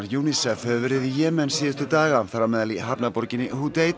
UNICEF hefur verið í Jemen síðustu daga þar á meðal í hafnarborginni